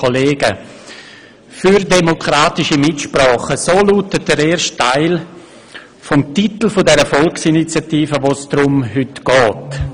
Für demokratische Mitsprache», so lautet der erste Teil des Titels der Volksinitiative, um die es heute geht.